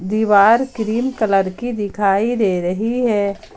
दीवार cream colour की दिखाई दे रही है।